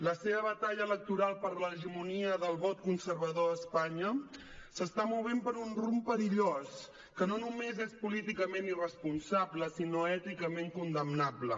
la seva batalla electoral per l’hegemonia del vot conservador a espanya s’està movent per un rumb perillós que no només és políticament irresponsable sinó èticament condemnable